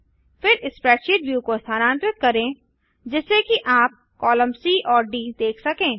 फिर spreadsheet view को स्थानांतरित करें जिससे कि आप कॉलम सी और डी देख सकें